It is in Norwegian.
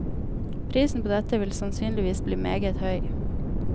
Prisen på dette vil sannsynligvis bli meget høy.